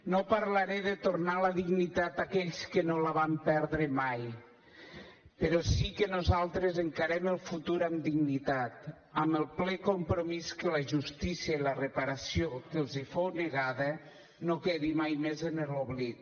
no parlaré de tornar la dignitat a aquells que no la van perdre mai però sí que nosaltres encarem el futur amb dignitat amb el ple compromís que la justícia i la reparació que els fou negada no quedin mai més en l’oblit